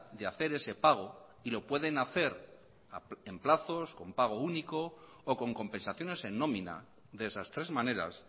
de hacer ese pago y lo pueden hacer en plazos con pago único o con compensaciones en nómina de esas tres maneras